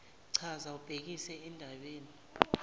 chaza ubhekise endabeni